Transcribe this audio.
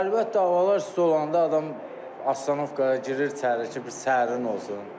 Hər vaxt havalar isti olanda adam astatovkaya girir içəri ki, bir sərin olsun.